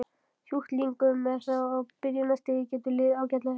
Sjúklingum með það á byrjunarstigi getur liðið ágætlega.